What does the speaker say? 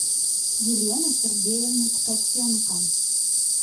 елены сергеевны ткаченко